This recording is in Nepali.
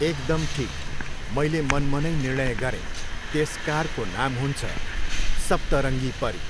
एकदम ठिक, मैले मनमनै निर्णय गरेँ, त्यस कारको नाम हुन्छ, सप्तरङ्गी परी।